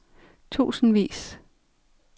tusindvis